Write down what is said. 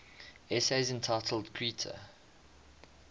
essays entitled kritika